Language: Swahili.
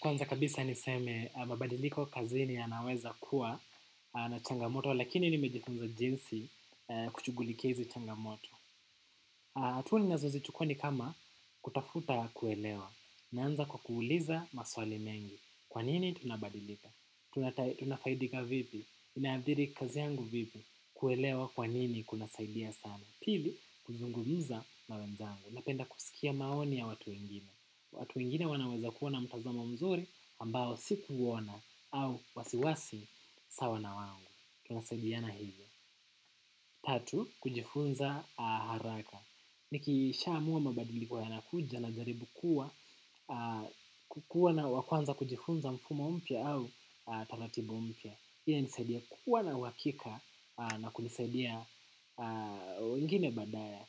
Kwanza kabisa niseme, mabadiliko kazini yanaweza kuwa na changamoto, lakini nimejifunza jinsi kushughulikia hizi changamoto. Hatua ninazozichukua ni kama kutafuta kuelewa. Naanza kwa kuuliza maswali mengi. Kwa nini tunabadilika? Tunafaidika vipi? Inaadhiri kazi yangu vipi? Kuelewa kwa nini kunasaidia sana? Pili, kuzungumza na wenzangu. Napenda kusikia maoni ya watu wengine. Watu wengine wanaweza kuwa na mtazamo mzuri ambao sikuuona au wasiwasi sawa na wangu tunasadiana hivyo. Tatu, kujifunza haraka nikishaamua mabadiliko yanakuja najaribu kuwa kukuwa na wa kwanza kujifunza mfumo mpya au taratibu mpya. Hii inanisaidia kuwa na uhakika na kunisaidia wengine badaa ya